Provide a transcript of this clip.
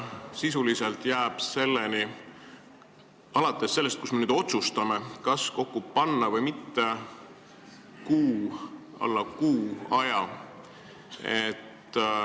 Sisuliselt jääb alates sellest, kui me nüüd otsustame, kas need kokku panna või mitte, selleni umbes kuu.